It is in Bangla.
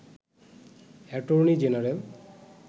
attorney general